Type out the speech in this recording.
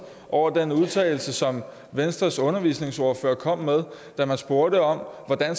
over den udtalelse som venstres undervisningsordfører kom med da man spurgte om hvordan